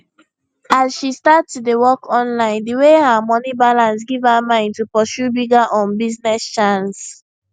as she start to dey work online the way her moni balance give her mind to pursue bigger um business chance